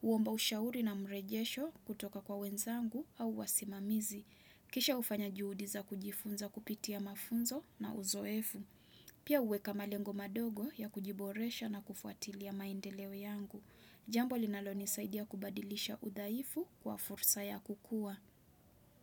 Huomba ushauri na mrejesho kutoka kwa wenzangu au wasimamizi. Kisha hufanya juhudibza kujifunza kupitia mafunzo na uzoefu. Pia huweka malengo madogo ya kujiboresha na kufuatilia maendeleo yangu. Jambo linalonisaidia kubadilisha udhaifu kwa fursa ya kukua.